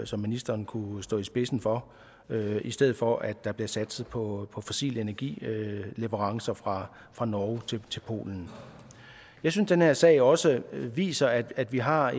som ministeren kunne stå i spidsen for i stedet for at der bliver satset på på fossile energileverancer fra fra norge til polen jeg synes den her sag også viser at at vi har